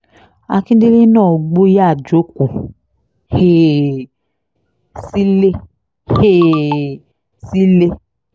akíndélé náà gbọ́ ó yáa jókòó um sílé um sílé